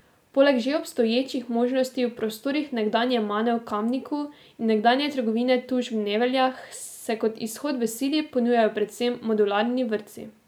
Poleg že obstoječih možnosti v prostorih nekdanje Mane v Kamniku in nekdanje trgovine Tuš v Nevljah se, kot izhod v sili, ponujajo predvsem modularni vrtci.